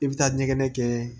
I bɛ taa ɲɛgɛn kɛ